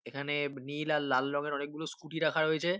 এখানে নীল আর লাল রঙের অনেকগুলো স্কুটি রাখা রয়েছে।